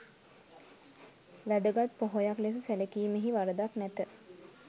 වැදගත් පොහොයක් ලෙස සැලකීමෙහි වරදක් නැත.